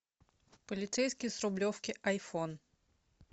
полицейский с рублевки айфон